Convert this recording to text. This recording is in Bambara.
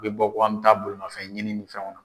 U bɛ bɔ ko an bɛ taa bolimafɛn ɲini ni fɛnw na.